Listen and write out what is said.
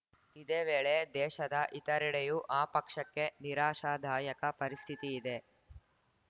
ಇದೇ ವೇಳೆ ದೇಶದ ಇತರೆಡೆಯೂ ಆ ಪಕ್ಷಕ್ಕೆ ನಿರಾಶಾದಾಯಕ ಪರಿಸ್ಥಿತಿಯಿದೆ